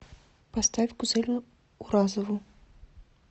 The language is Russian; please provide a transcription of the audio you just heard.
поставь гузель уразову